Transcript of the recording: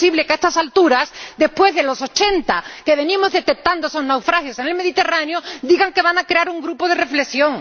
No es posible que, a estas alturas, después de que desde los ochenta venimos detectando esos naufragios en el Mediterráneo, digan que van a crear un grupo de reflexión.